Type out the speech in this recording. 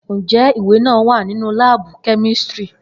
Njẹ iwe naa wa ninu laabu kemistri?